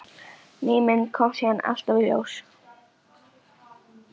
Ný mynd kom síðan alltaf í ljós.